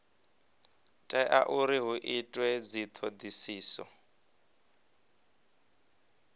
tea uri hu itwe dzithodisiso